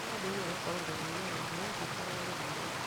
Mwana nĩambĩrĩirie gũkorora na hinya na nĩarabatara gũthimwo